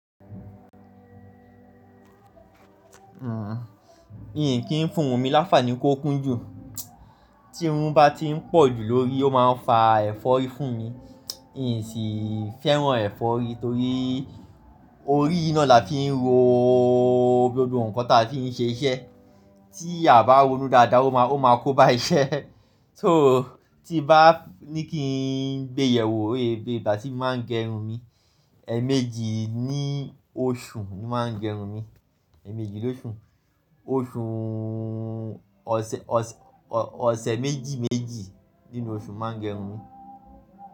Àhín, mi kìí fún ohun mi láfààní kó kún jù. Tí irun bá ti ń pọ̀ jù lórí ó máa ń fa ẹ̀fọ́rí fún mi. N sì fẹ́ràn ẹ̀fọ́rí torí i, orí yìí náà la fi ń ro gbogbo nǹkan tí a fi ń ṣe iṣẹ́. Tí a bá ronu dáadáa ó máa kó ba iṣẹ́. So, ti n bá ní kí n béèyẹ̀wò ó yé, ìgbà tí mi máa ń gẹrun mi. Ẹ̀ẹ̀mejì ní oṣù ni máa ń gé irun mi ẹ̀ẹ̀mejì lóṣù. Oṣùùù ọ̀sẹ̀, ọ̀sẹ̀ méjì méjì nínú oṣù n máa ń gẹrun mi.